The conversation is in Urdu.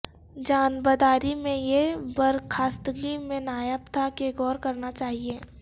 جانبداری میں یہ برخاستگی میں نایاب تھا کہ غور کرنا چاہیے